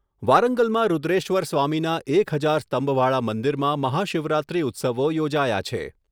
વારંગલમાં રૂદ્રેશ્વર સ્વામીના એક હજાર સ્તંભવાળા મંદિરમાં મહાશિવરાત્રી ઉત્સવો યોજાયા છે.